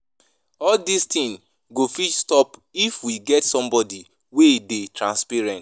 All dis things go fit stop if we get somebody wey dey transparent